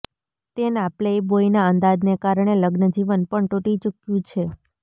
તેના પ્લેબોયના અંદાજને કારણે લગ્નજીવન પણ તૂટી ચૂક્યું છે